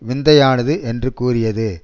விந்தையானது என்று கூறியது